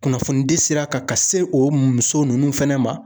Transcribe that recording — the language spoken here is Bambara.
Kunnafonidi sira kan ka se o muso ninnu fɛnɛ ma.